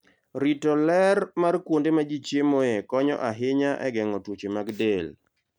Rito ler mar kuonde ma ji chiemoe konyo ahinya e geng'o tuoche mag del.